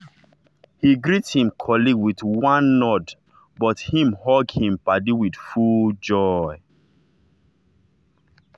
he greet him colleague with one nod but him hug him paddy with full joy.